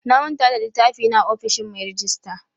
Na manta da littafi na a ofishin mai rejista.